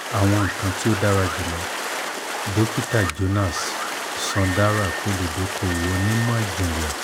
awọn nkan ti o dara julọ dokita jonas sundarak oludokowo onimọ-jinlẹ